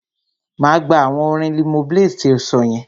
Máa gbà awọn orin Limoblaze ti o sọ yẹn.